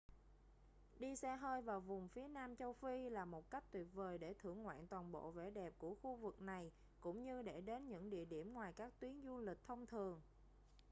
đi xe hơi vào vùng phía nam châu phi là một cách tuyệt vời để thưởng ngoạn toàn bộ vẻ đẹp của khu vực này cũng như để đến những địa điểm ngoài các tuyến du lịch thông thường